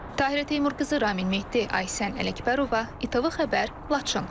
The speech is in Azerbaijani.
Tahirə Teymurqızı, Ramin Mehti, Aysən Ələkbərova, ATV Xəbər, Laçın.